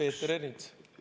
Peeter Ernits?